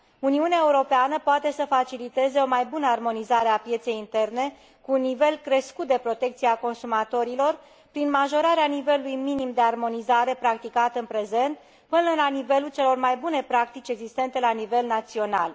Uniunea Europeană poate să faciliteze o mai bună armonizare a pieței interne, cu un nivel crescut de protecție a consumatorilor, prin majorarea nivelului minim de armonizare practicat în prezent până la nivelul celor mai bune practici existente la nivel național.